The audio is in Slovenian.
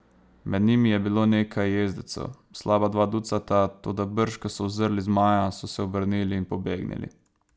Med njimi je bilo nekaj jezdecev, slaba dva ducata, toda brž ko so uzrli zmaja, so se obrnili in pobegnili.